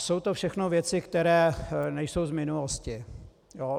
Jsou to všechno věci, které nejsou z minulosti.